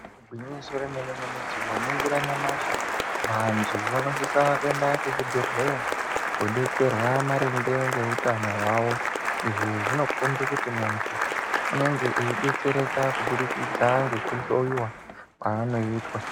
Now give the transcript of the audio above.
Igwinyiso romene mene , tikaningira nyamashi, vantu vanosisa kuenda kuchibhedhleyaa kodetserwaa maringe neutano hwavo. Izvi zvinokombe kuti muntu unende eidetsereka kubudikidza nekuhloyiwaa kwaanoitwaa.